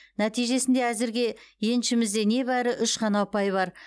нәтижесінде әзірге еншімізде небәрі үш қана ұпай бар